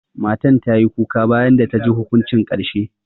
Matan ta yi kuka bayan da ta ji hukuncin karshe.